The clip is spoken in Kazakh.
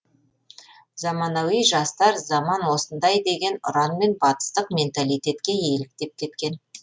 заманауи жастар заман осындай деген ұранмен батыстық менталитетке еліктеп кеткен